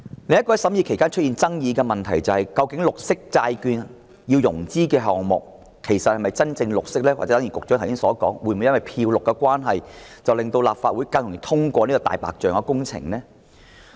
另一個在審議期間出現爭議的問題是，究竟透過綠色債券融資的項目是否真正"綠色"，還是正如局長剛才所說，會否因為"漂綠"的關係而令立法會更容易通過"大白象"工程呢？